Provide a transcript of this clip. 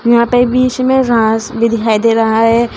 यहां पे बीच में घास भी दिखाई दे रहा है।